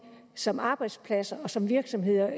som arbejdsplads og som virksomhed